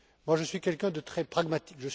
Je suis quelqu'un de très pragmatique.